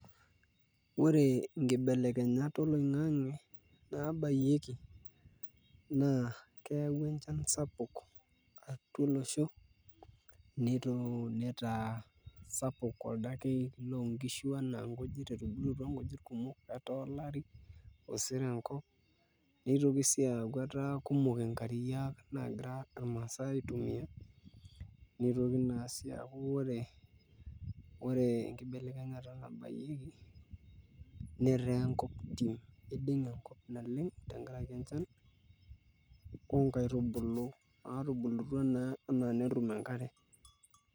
Ore naibelekenyat oloing'ang'e naabayieki naa keyaua enchan sapuk atua olosho nitaa sapuk oldakei loonkishu etubulutua nkujit etaa olari osero enkop notoki sii aaku etaa kumok nkariak naagira irmaasae aitumia notoki naa sii aaku ore enkibelekenyata naabayieki netaa enkop tim, iding'e enkop naleng tenkaraki enchan oonkaitubulu natubulutua pee etum enkare.